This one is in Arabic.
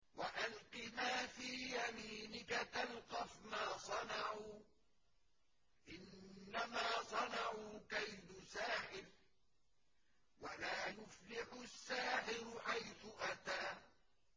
وَأَلْقِ مَا فِي يَمِينِكَ تَلْقَفْ مَا صَنَعُوا ۖ إِنَّمَا صَنَعُوا كَيْدُ سَاحِرٍ ۖ وَلَا يُفْلِحُ السَّاحِرُ حَيْثُ أَتَىٰ